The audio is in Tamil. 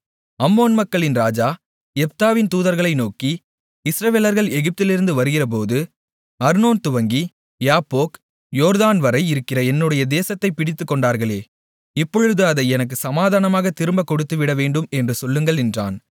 அம்மோன் மக்களின் ராஜா யெப்தாவின் தூதுவர்களை நோக்கி இஸ்ரவேலர்கள் எகிப்திலிருந்து வருகிறபோது அர்னோன் துவங்கி யாப்போக் யோர்தான்வரை இருக்கிற என்னுடைய தேசத்தைக் பிடித்துக்கொண்டார்களே இப்பொழுது அதை எனக்குச் சமாதானமாகத் திரும்பக் கொடுத்துவிடவேண்டும் என்று சொல்லுங்கள் என்றான்